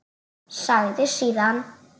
Sagði síðan